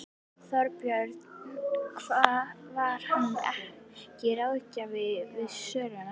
Þorbjörn: Var hann ekki ráðgjafi við söluna?